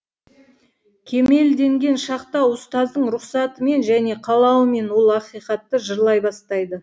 кемелденген шақта ұстаздың рұқсатымен және қалауымен ол ақиқатты жырлай бастайды